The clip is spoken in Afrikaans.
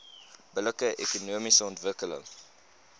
billike ekonomiese ontwikkeling